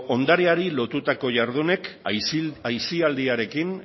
ondareari lotutako jardunek aisialdiarekin